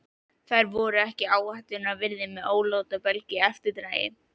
Þær voru ekki áhættunnar virði með ólátabelg í eftirdragi.